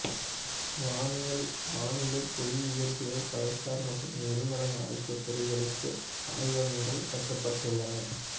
வானியல் வானிலை புவி இயற்பியல் கடல்சார் மற்றும் எரிமலை ஆகிய துறைகளுக்கு ஆய்வகங்கள் கட்டப்பட்டுள்ளன